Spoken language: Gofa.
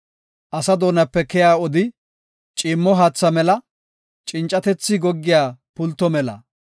Asa doonape keya odi, ciimmo haatha mela; cincatethi goggiya pulto mela.